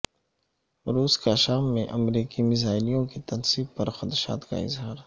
روس کا شام میں امریکی میزائلوں کی تنصیب پر خدشات کا اظہار